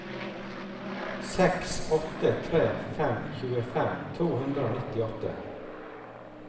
seks åtte tre fem tjuefem to hundre og nittiåtte